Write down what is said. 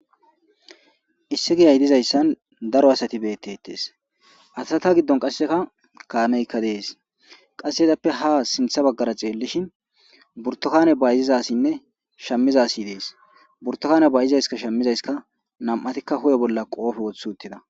Issi giyay diizayssan daaro assati bettetes asata giidon qasseka kaameykka dessi qasse izzappe ha sinthths baggara xellishin buurtukanne bayziza assine shaamiza asi dessi burttukanne shammizayssika nam'ati huphphe bolla qoppe woththi uttida.